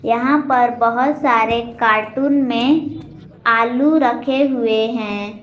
यहां पर बहुत सारे कार्टून में आलू रखे हुए हैं।